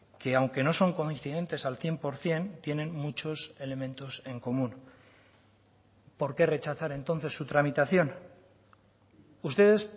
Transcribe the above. que aunque no son coincidentes al cien por ciento tienen muchos elementos en común por qué rechazar entonces su tramitación ustedes